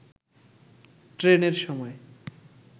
ট্রেনের সময়